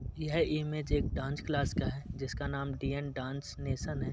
यह इमेज एक dance class का है जिसका नाम डी_एन डांस नेशन हैं।